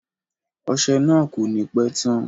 Ọsẹ náà ko ni pẹ tán.